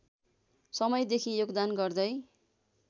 समयदेखि योगदान गर्दै